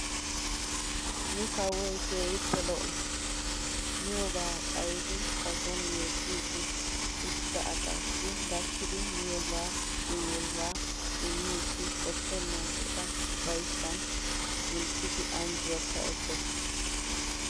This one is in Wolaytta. Nu kawoy keehippe lo"o. Miyoobaa xayidi ba soon yeekkiiddi uttida asaassi gakkidi miyooba uyiyoobaa immidi qoppennan eta ufayssan kunttidi anjjuwaakka ekkees.